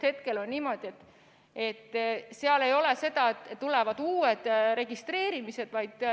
Hetkel ei ole seda, et tulevad uued registreerimised.